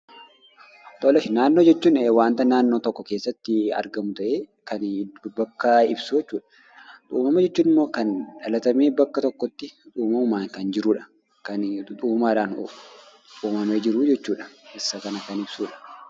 Naannoo jechuun wanta naannoo tokko keessatti argamu ta'ee kan bakka ibsu jechuudha. Uumama jechuun immoo kan dhalatanii bakka tokkotti uumamaan jiran jechuudha kan uumaadhaan uumamanii jiran jechuudha. Isa kan kan ibsu.